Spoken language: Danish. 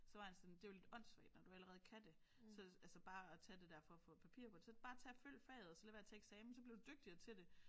Så var han sådan det er jo lidt åndssvagt når du allerede kan det så altså bare at tage det der for at få papir på det så bare tag at følg faget og lade være med at tage eksamen så bliver du dygtigere til det